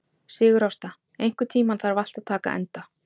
Sigurásta, einhvern tímann þarf allt að taka enda.